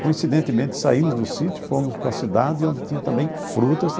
Coincidentemente, saímos do sítio, fomos para a cidade, onde tinha também frutas.